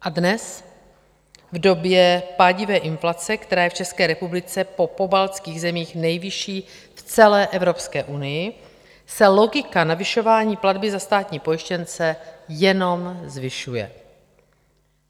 A dnes v době pádivé inflace, která je v České republice po pobaltských zemích nejvyšší v celé Evropské unii, se logika navyšování platby za státní pojištěnce jenom zvyšuje.